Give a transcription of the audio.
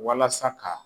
Walasa ka